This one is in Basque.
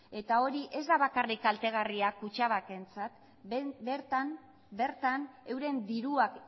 hori ez da bakarrik kaltegarria kutxabankentzat bertan euren diruak